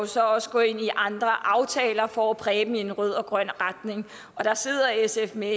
så også gå ind i andre aftaler for at præge dem i en rød og grøn retning der sidder sf med